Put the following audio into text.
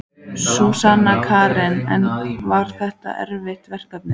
Sunna Karen: En var þetta erfitt verkefni?